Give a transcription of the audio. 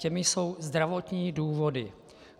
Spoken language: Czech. Tím jsou zdravotní důvody.